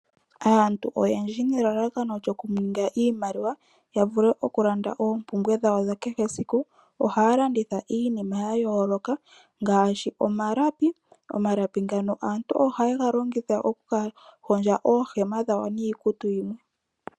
Aantu oyendji nelalakano lyokuninga iimaliwa ohaya landitha iinima ya yooloka ngaashi omalapi ngoka aantu haya longitha okuhondja oohema dhawo niikutu yimwe.